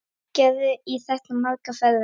Gerði í þetta margar ferðir.